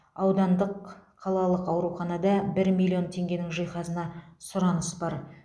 аудандық қалалық ауруханада бір миллион теңгенің жиһазына сұраныс бар